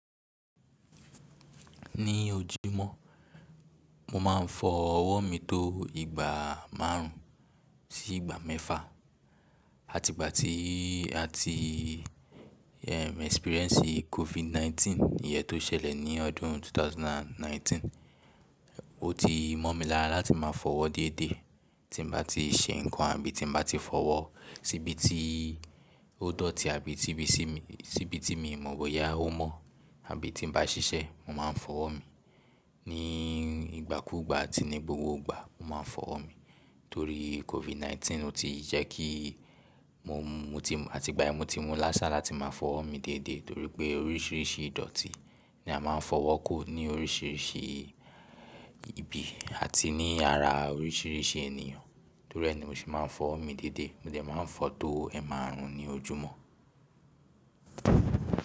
Ní ojúmọ́ mo máa ń fọ ọwọ́ mi tó ìgbà márùn ún sí ìgbà mẹ́fà. Àti ìgbà tí, àti experience COVID 19 ìyẹ́n tó ṣẹlẹ̀ ní ọdún 2019, ó ti mọ́ mi lára láti máa fọ owọ́ deédé. Tí n bá ti ṣe nkan àbí tí mo bá ti fi owọ́ sí ibi tí ó dọ̀tí àbí tí bí sí mi, síbi tí mi mọ̀ bóyá ó mọ̀ àbí tí n bá ṣiṣẹ́, mo máa ń fọwọ́ mi. Ní ìgbàkúùgbà àti ní gbogbo ìgbà mo máa ń fọ owọ́ mi. Torí COVID 19 ó ti jẹ́ kí mo mú, mo ti, àti ìgbà yen ni mo ti mú ni asà láti máa fọ owọ́ mi déedé torí pé oríṣiríṣi ìdọ̀tí ni a máa ń fi owọ́ ko ní oríṣiríṣi ibi àti ní ara oríṣiríṣi ènìyàn. Torí ẹ ni mo ṣe máa ń fọ owo mi déedé. Mo dè máa ń fọ tó ẹ́maárùn ún ní ojúmọ́.